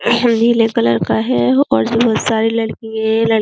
नीले कलर का है और इसमे बोहोत सारे लड्किये --